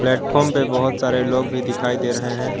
Platform पर बहोत सारे लोग भी दिखाई दे रहे हैं।